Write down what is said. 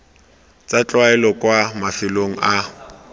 tsa tlwaelo kwa mafelong a